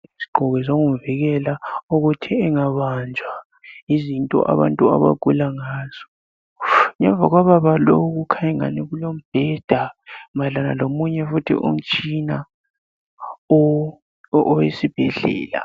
Isigqoko sokumvikela ukuthi engabanjwa yizinto abantu abagula ngazo ngemva lobaba lowu kukhanya engani kulombheda mayelana lomunye futhi umtshina owesibhedlela.